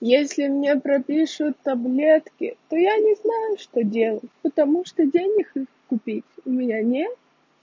если мне пропишут таблетки то я не знаю что делать потому что денег их купить у меня нет